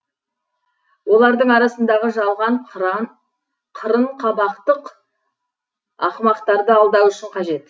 олардың арасындағы жалған қырын қабақтық ақымақтарды алдау үшін қажет